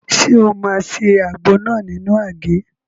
Ṣé o máa se àgbo náà nínú àgé?